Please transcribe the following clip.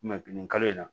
nin kalo in na